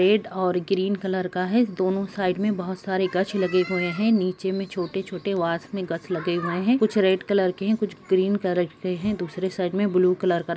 red और green colour का है इस दोनों साइड में बहुत सारे गछ लगे हुए है निचे में छोटे-छोटे वास में गछ लगे हुए है कुछ रेड कलर के है कुछ ग्रीन कलर के है दूसरे साइक में ब्लू कलर का --